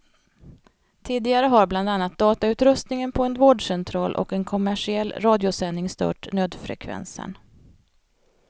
Tidigare har bland annat datautrustningen på en vårdcentral och en kommersiell radiosändning stört nödfrekvensen.